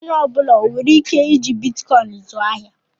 Onye ọ bụla onwere ike iji Bitikoin zụọ ahịa?